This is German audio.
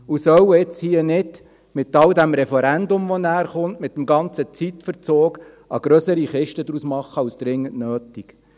Man soll jetzt nicht mit dem Referendum, das dann kommt, und dem Zeitverzug, eine grössere Kiste daraus machen als dringend nötig.